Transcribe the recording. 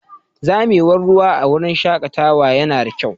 Zamewar ruwa a wurin shakatawa yana da kyau.